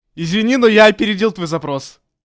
извини но я опередил твой запрос